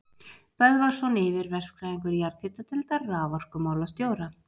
Böðvarsson yfirverkfræðingur jarðhitadeildar raforkumálastjóra.